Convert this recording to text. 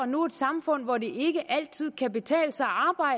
nu et samfund hvor det ikke altid kan betale sig